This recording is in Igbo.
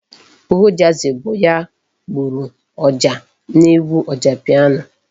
Ojazzy bụ ya gburu ọjà n'egwu Ojapiano.